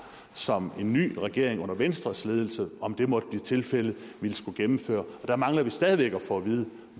som en ny regering under venstres ledelse om det måtte blive tilfældet ville skulle gennemføre og der mangler vi stadig væk at få at vide